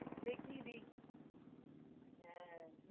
দেখি হ্যাঁ